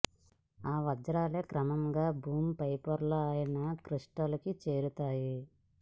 ఆ వజ్రాలే క్రమంగా భూమి పై పొర అయిన క్రస్ట్లోకి చేరతాయి